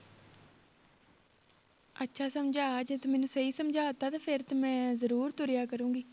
ਅੱਛਾ ਸਮਝਾ ਜੇ ਤੂੰ ਮੈਨੂੰ ਸਹੀ ਸਮਝਾ ਦਿੱਤਾ ਤੇ ਫਿਰ ਤੇ ਮੈਂ ਜ਼ਰੂਰ ਤੁਰਿਆ ਕਰਾਂਗੀ